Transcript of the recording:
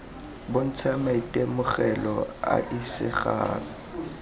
bontsha maitemogelo a a isegang